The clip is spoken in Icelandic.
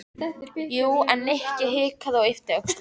Jú, en. Nikki hikaði og yppti öxlum.